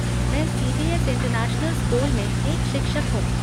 मैं CBS. International school में एक शिक्षक हूँ।